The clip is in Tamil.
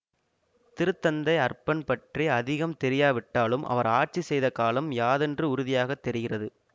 திருத்தந்தை அர்பன் பற்றி அதிகம் தெரியாவிட்டாலும் அவர் ஆட்சி செய்த காலம் யாதென்று உறுதியாக தெரிகிறது